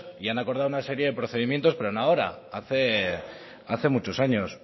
y han acordado una serie de procedimientos pero no ahora hace muchos años